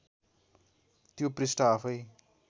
त्यो पृष्ठ आफैँ